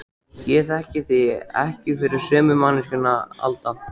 Ég þekki þig ekki fyrir sömu manneskju Alda.